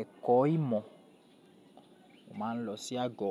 ẹ̀kọ́ ìmọ̀, mo máa ń lọ sí agọ.